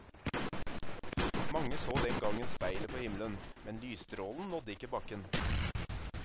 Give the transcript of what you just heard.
Mange så den gangen speilet på himmelen, men lysstrålen nådde ikke bakken.